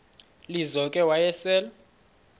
lizo ke wayesel